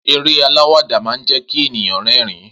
Eré aláwàdà máa ń jẹ́kí ènìyàn rerin